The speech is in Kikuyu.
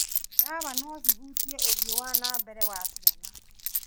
Ndawa no cihutie ũthii wa na mbere wa ciana.